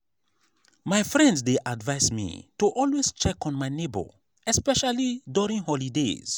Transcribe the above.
my friend dey advise me to always check on my neighbor especially during holidays.